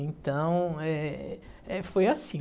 Então, eh, eh, foi assim.